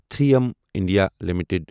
three M India limited